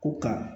Ko ka